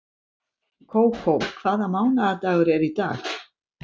Kókó, hvaða mánaðardagur er í dag?